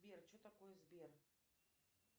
сбер что такое сбер